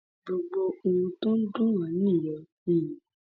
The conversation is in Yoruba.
gbogbo ohun tó ń dùn wá nìyẹn um